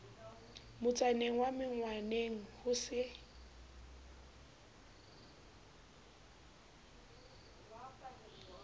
motsaneng wa menkgwaneng ho se